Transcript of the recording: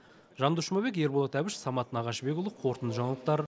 жандос жұмабек ерболат әбіш самат нағашыбекұлы қорытынды жаңалықтар